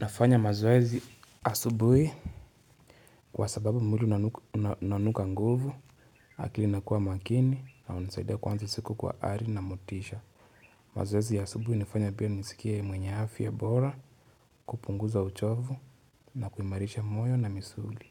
Nafanya mazoezi asubui kwa sababu mwili unanuka nguvu, akili inakuwa makini, na hunisaidia kuanza siku kwa ari na motisha. Mazoezi asubui inafanya pia nisikia mwenye afya bora, kupunguza uchovu, na kuimarisha moyo na misuli.